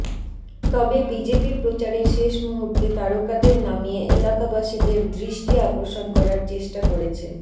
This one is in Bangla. তবে বিজেপি প্রচারের শেষ মুহূর্তে তারকাদের নামিয়ে এলাকাবাসীদের দৃষ্টি আকর্ষণ করার চেষ্টা করেছে